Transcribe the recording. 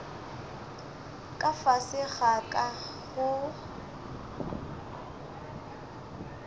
ka fase ga ka go